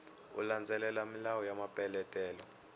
u landzelela milawu ya mapeletelo